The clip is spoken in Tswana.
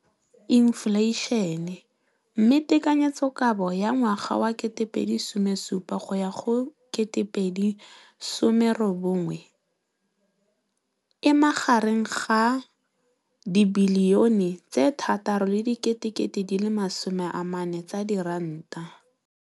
Infleišene, mme tekanyetsokabo ya 2017, 18, e magareng ga R6.4 bilione.